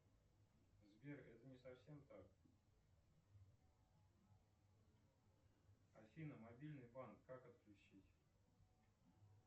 сбер это не совсем так афина мобильный банк как отключить